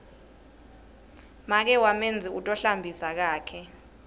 make wamenzi u tohlambisa kakhe